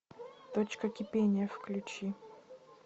точка кипения включи